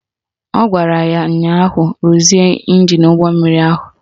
Ọ gwara ya ụnyaahụ "Ruzie ịnjin ụgbọmmiri ahụ"!